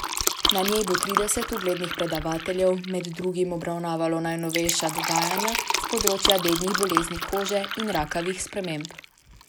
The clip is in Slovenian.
Na njej bo trideset uglednih predavateljev med drugim obravnavalo najnovejša dognanja s področja dednih bolezni kože in rakavih sprememb.